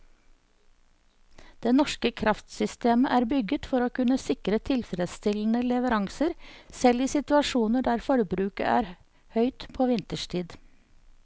Det norske kraftsystemet er bygget for å kunne sikre tilfredsstillende leveranser selv i situasjoner der forbruket er høyt på vinterstid.